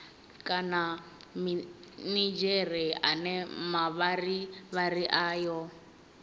kana minidzhere ane mavharivhari ayo